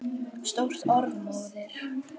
Stórt orð móðir!